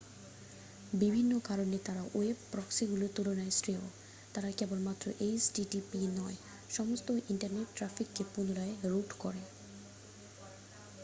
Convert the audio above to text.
বিভিন্ন কারণে তারা ওয়েব প্রক্সিগুলির তুলনায় শ্রেয় তারা কেবলমাত্র http নয় সমস্ত ইন্টারনেট ট্র্যাফিককে পুনরায় রুট করে